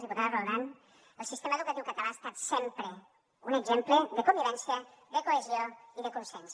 diputada roldán el sistema educatiu català ha estat sempre un exemple de convivència de cohesió i de consens